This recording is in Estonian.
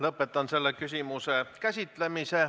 Lõpetan selle küsimuse käsitlemise.